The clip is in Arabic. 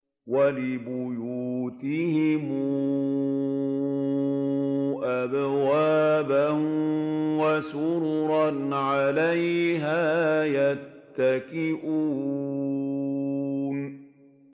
وَلِبُيُوتِهِمْ أَبْوَابًا وَسُرُرًا عَلَيْهَا يَتَّكِئُونَ